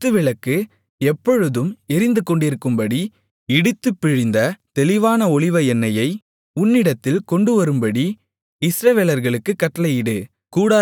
குத்துவிளக்கு எப்பொழுதும் எரிந்துகொண்டிருக்கும்படி இடித்துப் பிழிந்த தெளிவான ஒலிவ எண்ணெயை உன்னிடத்தில் கொண்டுவரும்படி இஸ்ரவேலர்களுக்குக் கட்டளையிடு